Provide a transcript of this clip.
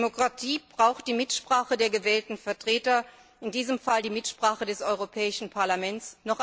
Demokratie braucht die Mitsprache der gewählten Vertreter, in diesem Fall die Mitsprache des Europäischen Parlaments.